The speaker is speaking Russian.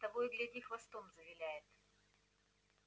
того и гляди хвостом завиляет